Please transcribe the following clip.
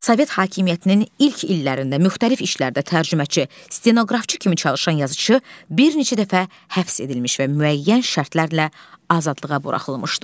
Sovet hakimiyyətinin ilk illərində müxtəlif işlərdə tərcüməçi, stenoqrafçı kimi çalışan yazıçı bir neçə dəfə həbs edilmiş və müəyyən şərtlərlə azadlığa buraxılmışdı.